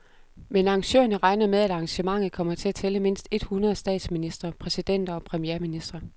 Men arrangørerne regner med, at arrangementet kommer til at tælle mindst et hundrede statsministre, præsidenter og premierministre.